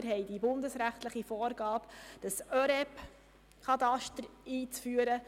Wir haben die bundesrechtliche Vorgabe, das ÖREB-Kataster einzuführen.